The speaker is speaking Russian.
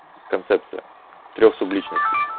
концепция трёх субличностей